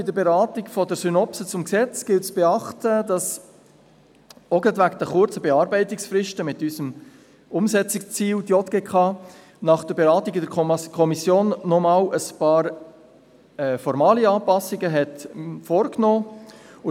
Bei der Beratung der Synopse zum Gesetz gilt es zu beachten, dass die JGK – gerade auch wegen der kurzen Beratungsfristen aufgrund unseres Umsetzungsziels – nach der Beratung in der Kommission noch einmal einige formale Anpassungen vorgenommen hat.